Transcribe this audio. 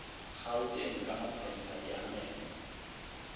gauteng ka maphadiphadi a meno